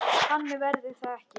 Þannig verður það ekki.